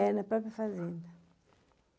É, na própria fazenda.